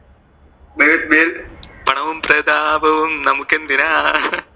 പണവും പ്രതാപവും നമുക്ക് എന്തിനാ,